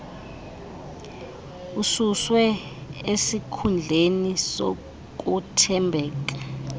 ususwe esikhundleni sokuthembeka